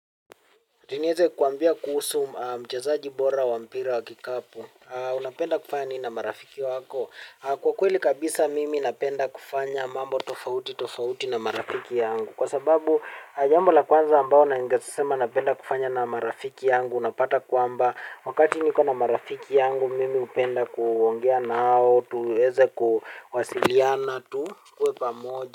Ati nieze kukuambia kuhusu mchezaji bora wa mpira wa kikapu unapenda kufanya ni na marafiki wako? Kwa kweli kabisa mimi napenda kufanya mambo tofauti tofauti na marafiki yangu. Kwa sababu jambo la kwanza ambao naingesema napenda kufanya na marafiki yangu. Unapata kwamba wakati niko na marafiki yangu mimi hupenda kuongea nao. Tuweze kuwasiliana tu. Kuwe pamoja.